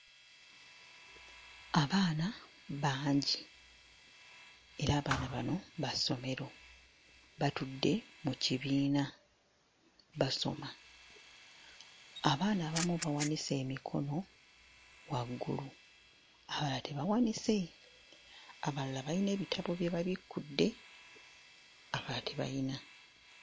Abaana bangi era abaana bano ba ssomero batudde mu kibiina basoma. Abaana abamu bawanise emikono waggulu abalala tebawanise abalala bayina ebitabo bye babikkudde abalala tebayina.